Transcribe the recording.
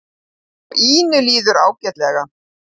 Og Ínu líður ágætlega.